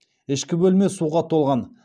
ішкі бөлме суға толған